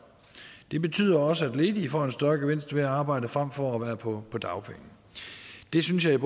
det betyder også at ledige får en større gevinst ved at arbejde frem for at være på på dagpenge det synes jeg